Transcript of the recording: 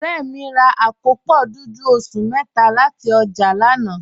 Ọ̀rẹ́ mi rà àkópọ́ dúdú ọ̀ṣun métà láti ojá lànà.